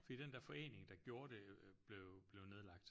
Fordi den der forening der gjorde det blev blev nedlagt